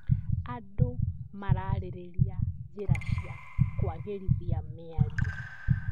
Andũ mararĩrĩria njĩra cia kũagĩrithia mĩario.